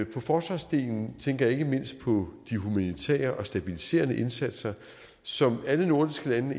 på forsvarsdelen tænker jeg ikke mindst på de humanitære og stabiliserende indsatser som alle nordiske lande